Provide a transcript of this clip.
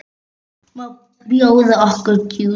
Má bjóða okkur djús?